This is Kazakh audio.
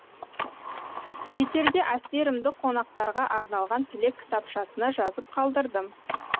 кетерде әсерімді қонақтарға арналған тілек кітапшасына жазып қалдырдым